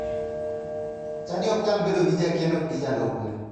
Chadi ok nyal bedo gi jakeno gi jalupne.